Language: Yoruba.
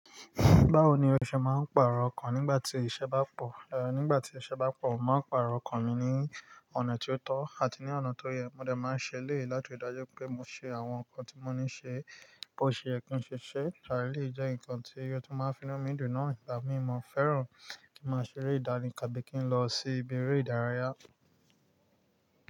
Báwo ni o ṣe máa ń pàrọ̀ ọkọ̀ nígbà tí iṣẹ́ bá pọ̀? Ehn, nígbà tí iṣẹ́ bá pọ̀, màá pàrọ̀ ọkọ̀ mi ní ọ̀nà tí ó tọ́ àti ní ọ̀nà tó yẹ. Mo dẹ̀ máa ń ṣe léè láti dájú pé mo ṣe àwọn nǹkan tí mo ní ṣe bó ṣe ẹ́ kí n ṣe ṣe. Lárí lè jẹ́ ǹkan tí irú tí máa ń finá mi dùn náà. Ìgbà mí mo fẹ́ràn kí máa ṣeré ìdárin kàbìkìn lọ sí ibi eré ìdárayá.